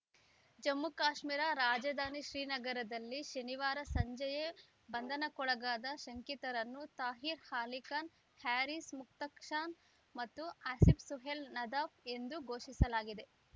ಜಮ್ಮುಕಾಶ್ಮೀರ ರಾಜಧಾನಿ ಶ್ರೀನಗರಲ್ಲಿ ಶನಿವಾರ ಸಂಜೆಯೇ ಬಂಧನಕ್ಕೊಳಗಾದ ಶಂಕಿತರನ್ನು ತಾಹೀರ್‌ ಅಲಿ ಖಾನ್‌ ಹ್ಯಾರಿಸ್‌ ಮುಷ್ತಾಕ್‌ ಖಾನ್‌ ಮತ್ತು ಆಸೀಫ್‌ ಸುಹೇಲ್‌ ನದಾಫ್‌ ಎಂದು ಘೋಷಿಸಲಾಗಿದೆ